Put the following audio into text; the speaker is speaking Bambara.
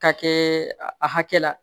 K'a kɛ a hakɛ la